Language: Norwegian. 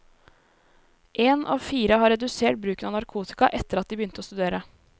En av fire har redusert bruken av narkotika etter at de begynte å studere.